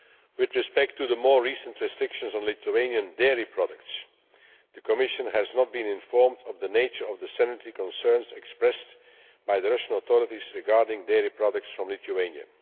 With respect to the more recent restrictions on Lithuanian dairy products the Commission has not been informed of the nature of the sanitary concerns expressed by the Russian authorities regarding dairy products from Lithuania.